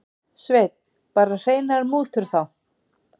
Sveinn: Bara hreinar mútur þá?